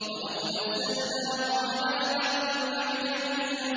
وَلَوْ نَزَّلْنَاهُ عَلَىٰ بَعْضِ الْأَعْجَمِينَ